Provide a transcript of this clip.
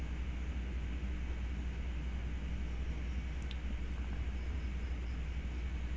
হম